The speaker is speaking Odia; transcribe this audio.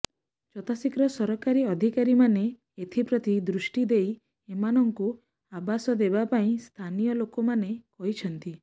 ଯଥାଶୀଘ୍ର ସରକାରୀ ଅଧିକାରୀମାନେ ଏଥିପ୍ରତି ଦୃଷ୍ଟି ଦେଇ ଏମାନଙ୍କୁ ଆବାସ ଦେବା ପାଇଁ ସ୍ଥାନୀୟ ଲୋକମାନେ କହିଛନ୍ତି